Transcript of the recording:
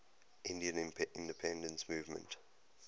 indian independence movement